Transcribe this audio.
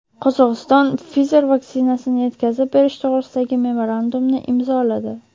Qozog‘iston Pfizer vaksinasini yetkazib berish to‘g‘risidagi memorandumni imzoladi.